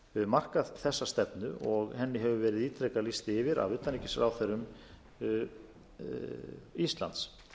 markað þessa stefnu og henni hefur verið ítrekað lýst yfir af utanríkisráðherrum íslands